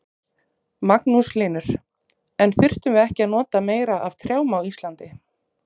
Magnús Hlynur: En þyrftum við ekki að nota meira af trjám á Íslandi?